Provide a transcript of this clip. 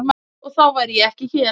Og þá væri ég ekki hér.